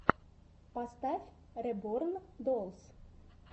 поставь реборн доллс